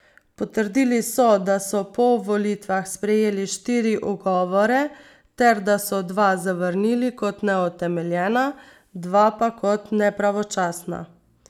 Potrdili so, da so po volitvah sprejeli štiri ugovore ter da so dva zavrnili kot neutemeljena, dva pa kot nepravočasna.